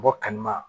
Bɔ kanu ma